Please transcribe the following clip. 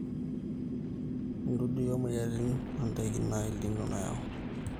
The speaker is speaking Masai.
idudui or moyiaritin o ndaiki naa El nino nayau